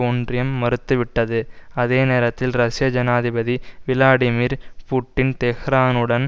ஒன்றியம் மறுத்துவிட்டது அதே நேரத்தில் ரஷ்ய ஜனாதிபதி விளாடிமீர் புட்டின் தெஹ்ரானுடன்